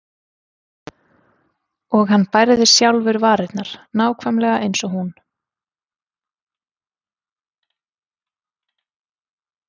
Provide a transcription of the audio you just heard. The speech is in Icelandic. Og hann bærði sjálfur varirnar, nákvæmlega eins og hún.